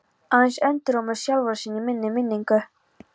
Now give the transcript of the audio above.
Aðeins endurómur sjálfra sín í minni minningu.